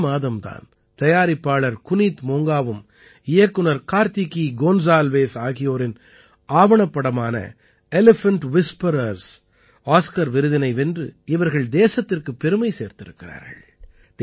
இந்த மாதம் தான் தயாரிப்பாளர் குனீத் மோங்காவும் இயக்குநர் கார்த்திகீ கோன்ஸால்வேஸ் ஆகியோரின் ஆவணப்படமான எலிபன்ட் விஸ்பரர்ஸ் ஆஸ்கார் விருதினை வென்று இவர்கள் தேசத்திற்குப் பெருமை சேர்த்திருக்கிறார்கள்